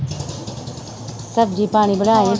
ਸਬਜ਼ੀ ਪਾਣੀ ਬਣਾ ਲਈ